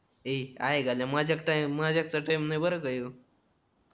ए आयघाल्या मजाक चा टाईम नाय बर का ह्यो